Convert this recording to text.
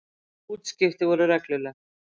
Útskipti voru regluleg.